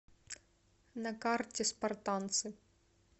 на карте спартанцы